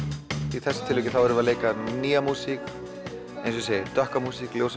í þessu tilviki erum við að leika nýja músík dökka músík ljósa